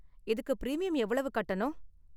இதுக்கு பிரீமியம் எவ்வளவு கட்டணும்?